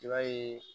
I b'a ye